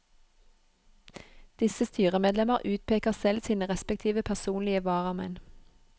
Disse styremedlemmer utpeker selv sine respektive personlige varamenn.